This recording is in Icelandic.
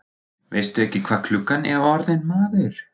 Veistu ekki hvað klukkan er orðin, maður?